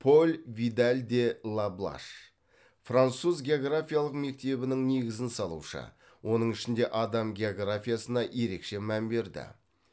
поль видаль де ла блаш француз географиялық мектебінің негізін салушы оның ішінде адам географиясына ерекше мән берді